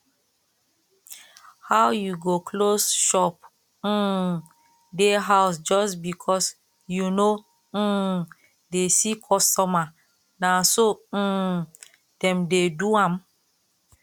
how you go close shop um dey house just because you no um dey see customer na so um dem dey do am